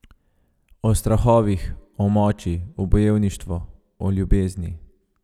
O strahovih, o moči, o bojevništvu, o ljubezni.